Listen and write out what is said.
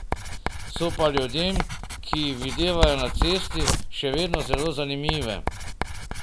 So pa ljudem, ki jih videvajo na cesti, še vedno zelo zanimive.